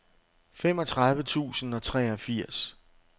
femogtredive tusind og treogfirs